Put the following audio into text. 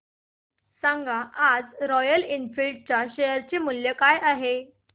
सांगा आज Royal Enfield च्या शेअर चे मूल्य काय आहे